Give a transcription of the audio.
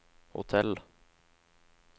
hotell